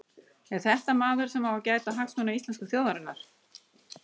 Er þetta maður sem á að gæta hagsmuna íslensku þjóðarinnar?